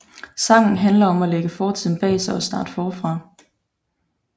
Sangen handler om at lægge fortiden bag sig og starte forfra